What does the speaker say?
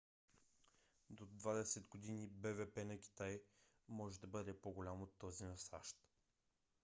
до двадесет години бвп на китай може да бъде по - голям от този на сащ